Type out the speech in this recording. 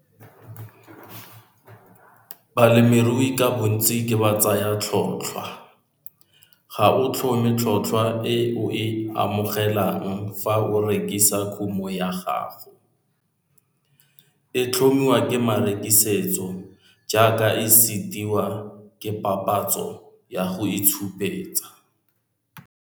Balemirui ka bontsi ke batsayatlhotlhwa, ga o tlhome tlhotlhwa e o e amogelang fa o rekisa kumo ya gago, e tlhomiwa ke marekisetso jaaka e setiwa ke papatso ya go itshupetsa.